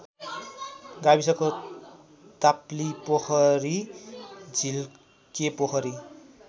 गाविसको ताप्लिपोखरी झिल्केपोखरी